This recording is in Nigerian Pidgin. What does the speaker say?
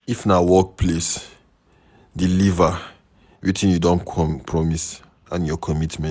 if na for workplace, deliver wetin you don promise and your commitment